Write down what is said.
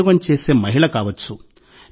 ఉద్యోగం చేసే మహిళ కావచ్చు